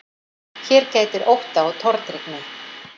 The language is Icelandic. Hér gætir ótta og tortryggni.